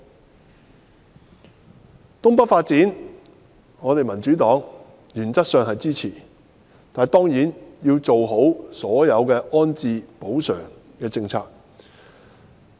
在東北發展方面，民主黨原則上支持，但當然要做好所有安置及補償的政策。